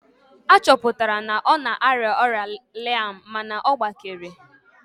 A chọpụtara na ọ na-arịa ọrịa laịm mana ọ gbakere